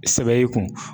Sɛbɛ y'i kun